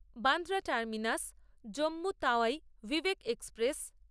Bandra terminus Jammu Tawi Vivek express